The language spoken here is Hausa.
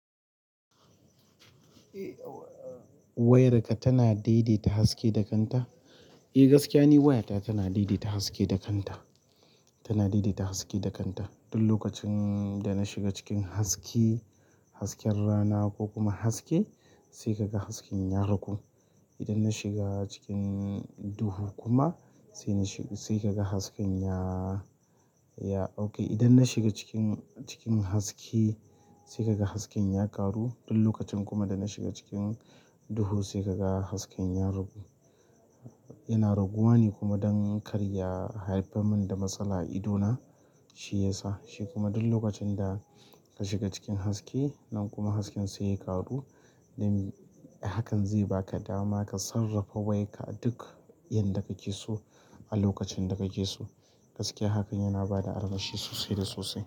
Wayarka tana daidaita haske da kanta. Eh, gaskiya ni wayata tana daidaita haske da kanta. Tana daidaita haske da kanta. Duk lokacin da na shiga cikin haske, hasken rana ko kuma haske sai ka ga hasken ya ragu. Idan na shiga cikin duhu kuma sai na shiga-- sai ka ga hasken ya, ya-- okay. Idan na shiga cikin, cikin haske sai ka ga hasken ya ƙaru. Duk lokacin kuma da na shiga cikin duhu sai ka ga hasken ya ragu. Yana raguwa ne kuma don karya haifar min da matsala a idona, shi yasa. Shi kuma duk lokacin da ka shiga cikin haske nan kuma hasken sai ya ƙaru, dan hakan zai baka dama ka sarrafa wayarka a duk yan da kake so a lokacin da kake so. Gaskiya hakan yana bada armashi sosai da sosai.